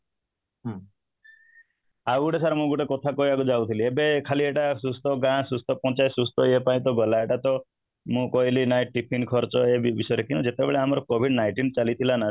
ଆଉ ଗୋଟେ sir ମୁଁ କଥା କହିବାକୁ ଯାଉଥିଲି ଏବେ ଖାଲି ଏଇଟା ସୁସ୍ଥ ଗାଁ ସୁସ୍ଥ ପଞ୍ଚାୟତ ସୁସ୍ଥ ଇୟେ ପାଇଁ ତ ଗଲା ଏଇଟା ତ ମୁଁ କହିଲି ନାଇଁ tiffin ଖର୍ଚ୍ଚ ବିଷୟରେ କିନ୍ତୁ ଯେତେବେଳେ ଆମର covid nineteen ଚାଲିଥିଲା ନା